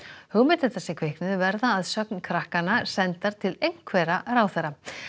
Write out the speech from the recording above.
hugmyndirnar sem kviknuðu verða að sögn krakkanna sendar til einhverra ráðherra